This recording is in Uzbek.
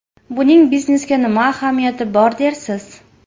Buning biznesga nima ahamiyati bor dersiz?